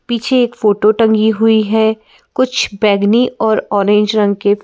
पीछे एक फोटो टंगी हुई है कुछ बैगनी और ऑरेंज रंग के --